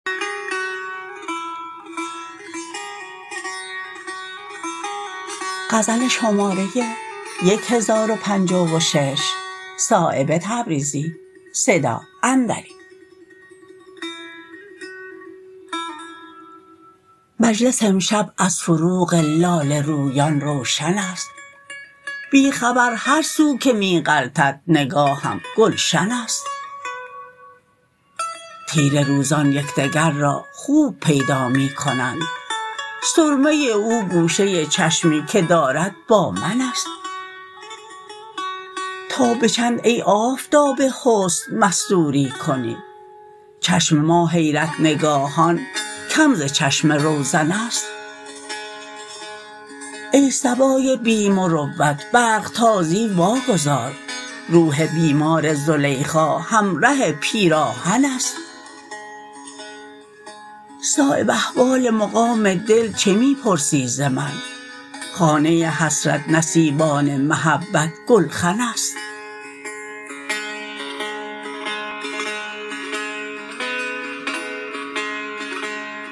مجلس امشب از فروغ لاله رویان روشن است بی خبر هر سو که می غلطد نگاهم گلشن است تیره روزان یکدگر را خوب پیدا می کنند سرمه او گوشه چشمی که دارد با من است تا به چندی ای آفتاب حسن مستوری کنی چشم ما حیرت نگاهان کم ز چشم روزن است ای صبای بی مروت برق تازی واگذار روح بیمار زلیخا همره پیراهن است صایب احوال مقام دل چه می پرسی ز من خانه حسرت نصیبان محبت گلخن است